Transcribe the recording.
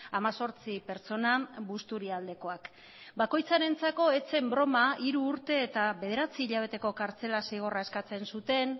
hemezortzi pertsona busturialdekoak bakoitzarentzako ez zen broma hiru urte eta bederatzi hilabeteko kartzela zigorra eskatzen zuten